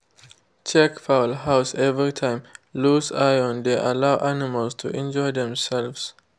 check fowl house every time _ loose iron dey allow animal to injure demselves.